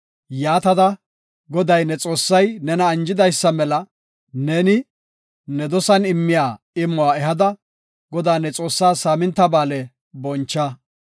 Yaatada, Goday, ne Xoossay nena anjidaysa mela ne, ne dosan immiya imuwa ehada, Godaa, ne Xoossaa Saaminta Ba7aale boncha.